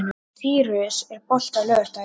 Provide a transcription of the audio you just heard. Sýrus, er bolti á laugardaginn?